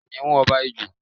Kìnnìún ọba Ijù.